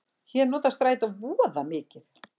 Ég nota strætó voða mikið.